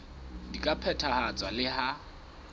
di ka phethahatswa le ha